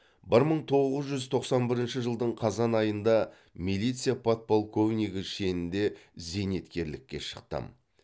бір мың тоғыз жүз тоқсан бірінші жылдың қазан айында милиция подполковнигі шенінде зейнеткерлікке шықтым